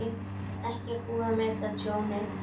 Ekki er búið að meta tjónið